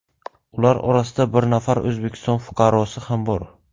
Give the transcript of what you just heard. Ular orasida bir nafar O‘zbekiston fuqarosi ham bor.